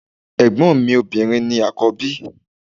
Ẹ̀gbọ́n mi obìnrin ni àkọ́bí.